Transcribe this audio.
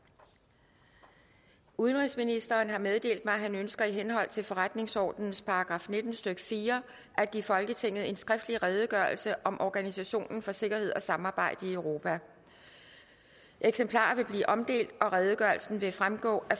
udenrigsministeren har meddelt mig at han ønsker i henhold til forretningsordenens § nitten stykke fire at give folketinget en skriftlig redegørelse om organisationen for sikkerhed og samarbejde i europa eksemplarer vil blive omdelt og redegørelsen vil fremgå af